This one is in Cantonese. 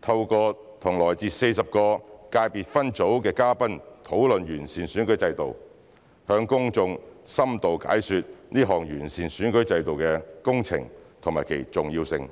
透過與來自40個界別分組的嘉賓討論完善選舉制度，向公眾深度解說這項完善選舉制度工程和其重要性。